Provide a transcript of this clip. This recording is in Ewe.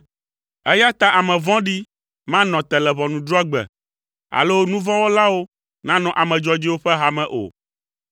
Eya ta ame vɔ̃ɖi manɔ te le ʋɔnudrɔ̃gbe, alo nu vɔ̃ wɔlawo nanɔ ame dzɔdzɔewo ƒe ha me o.